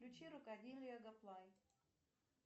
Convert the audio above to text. включи